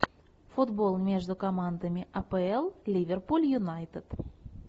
футбол между командами апл ливерпуль юнайтед